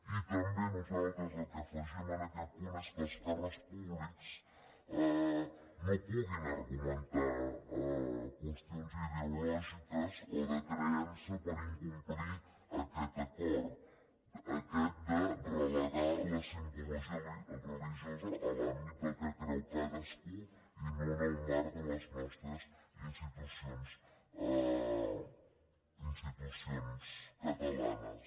i també nosaltres el que afegim en aquest punt és que els càrrecs públics no puguin argumentar qüestions ideològiques o de creença per incomplir aquest acord aquest de relegar la simbologia religiosa a l’àmbit del que creu cadascú i no en el marc de les nostres institucions catalanes